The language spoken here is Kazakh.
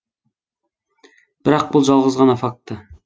бірақ бұл жалғыз ғана факт